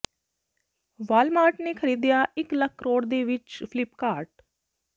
Walmart ਨੇ ਖ਼ਰੀਦਿਆ ਇੱਕ ਲੱਖ ਕਰੋੜ ਦੇ ਵਿੱਚ ਫਲਿੱਪਕਾਰਟ